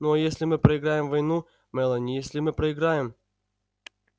ну а если мы проиграем войну мелани если мы проиграем